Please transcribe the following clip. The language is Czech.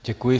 Děkuji.